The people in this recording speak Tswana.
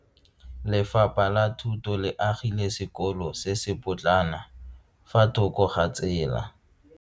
Lefapha la Thuto le agile sekolo se se potlana fa thoko ga tsela.